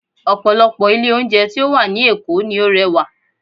Ọ̀pọ̀lọpọ̀ ilé oúnjẹ tí ó wà ní Èkó ni ó rẹwà